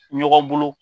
Ɲɔgɔn bolo